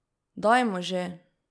Dajmo že!